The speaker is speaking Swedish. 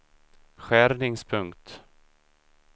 skärningspunkt